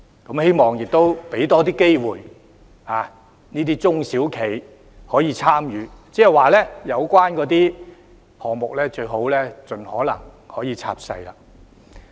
我希望也多給予中小型企業參與的機會，即有關項目宜盡可能拆細。